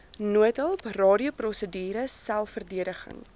noodhulp radioprosedure selfverdediging